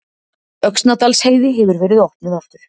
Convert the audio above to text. Öxnadalsheiði hefur verið opnuð aftur